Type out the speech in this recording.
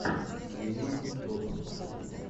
виэм боб